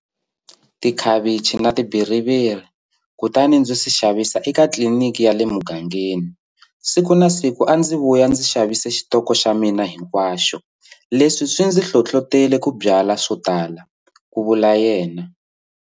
Tikhavichi na tibitiruti, kutani ndzi swi xavisa eka tliliniki ya le mugangeni. Siku na siku a ndzi vuya ndzi xavise xitoko xa mina hinkwaxo. Leswi swi ndzi hlohlotele ku byala swotala, ku vula yena.